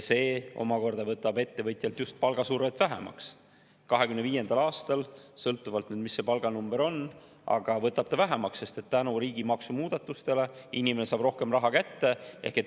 See omakorda võtab ettevõtjalt just palgasurvet vähemaks 2025. aastal, sõltuvalt, mis see palganumber on, aga võtab vähemaks, sest tänu riigi maksumuudatustele saab inimene rohkem raha kätte.